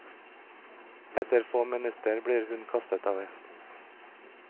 Etter få minutter blir hun kastet av hesten.